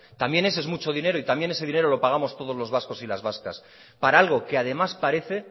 también ese es mucho dinero y también ese dinero lo pagamos todos los vascos y las vascas para algo que además parece